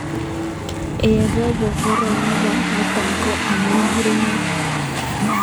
Eng robo koro nebo nitok ko amu murenet